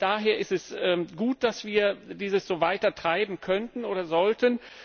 Von daher ist es gut, dass wir dieses so weitertreiben können oder sollten.